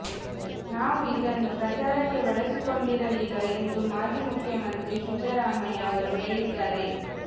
ನಾವು ಇದನ್ನು ಪ್ರಚಾರಕ್ಕೆ ಬಳಸಿಕೊಂಡಿರಲಿಲ್ಲ ಎಂದು ಮಾಜಿ ಮುಖ್ಯಮಂತ್ರಿ ಸಿದ್ದರಾಮಯ್ಯ ಅವರು ಹೇಳಿದ್ದಾರೆ